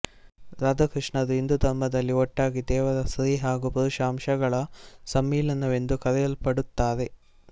ರಾಧಾ ಕೃಷ್ಣರು ಹಿಂದೂ ಧರ್ಮದಲ್ಲಿ ಒಟ್ಟಾಗಿ ದೇವರ ಸ್ತ್ರೀ ಹಾಗೂ ಪುರುಷ ಅಂಶಗಳ ಸಮ್ಮಿಲನವೆಂದು ಕರೆಯಲ್ಪಡುತ್ತಾರೆ